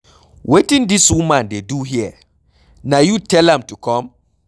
Wetin dis woman dey do here? Na you tell am to come?